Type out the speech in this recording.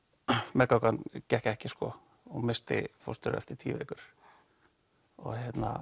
meðgangan gekk ekki og hún missti fóstur eftir tíu vikur og